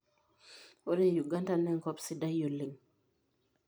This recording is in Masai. Ore Uganda naa enkop sidai oleng.